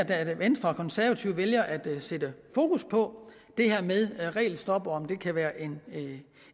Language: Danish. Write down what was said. at venstre og konservative vælger at sætte fokus på det her med regelstop og om det kan være